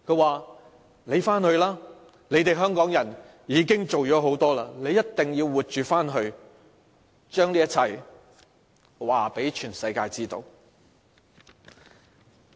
他們說："你回去吧，你們香港人已經做了很多，你一定要活着回去，將這一切告訴全世界知道。